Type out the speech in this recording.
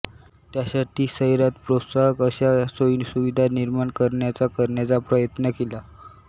त्यासाठी शहरात प्रोत्साहक अशा सोयीसुविधा निर्माण करण्याचा करण्याचा प्रयत्न केला